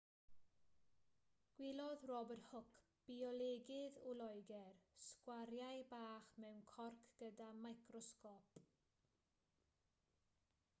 gwelodd robert hooke biolegydd o loegr sgwariau bach mewn corc gyda microsgôp